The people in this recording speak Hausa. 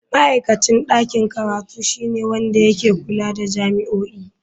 Ma'aikacin ɗakin karatu shine wanda ke kula da jami'o'i.